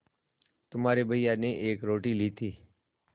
तुम्हारे भैया ने एक रोटी ली थी